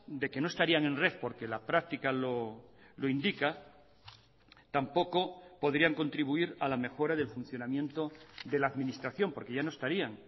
de que no estarían en red porque la práctica lo indica tampoco podrían contribuir a la mejora del funcionamiento de la administración porque ya no estarían